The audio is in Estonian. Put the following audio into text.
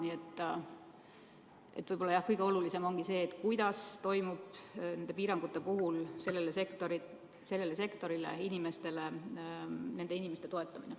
Nii et jah, kõige olulisem ehk ongi see, kuidas toimub nende piirangute puhul selle sektori, nende inimeste toetamine.